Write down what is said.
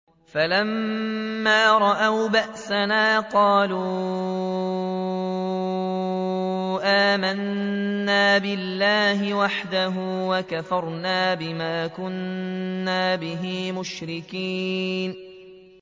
فَلَمَّا رَأَوْا بَأْسَنَا قَالُوا آمَنَّا بِاللَّهِ وَحْدَهُ وَكَفَرْنَا بِمَا كُنَّا بِهِ مُشْرِكِينَ